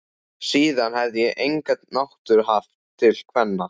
Síðan hefi ég enga náttúru haft til kvenna.